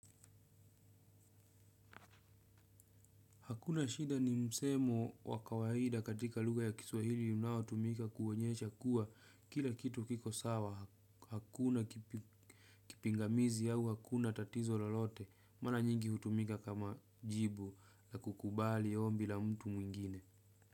Hakuna shida ni msemo wa kawaida katika lugha ya kiswahili unaotumika kuonyesha kuwa kila kitu kiko sawa. Hakuna kipingamizi au hakuna tatizo lolote. Mara nyingi hutumika kama jibu la kukubali ombi la mtu mwingine.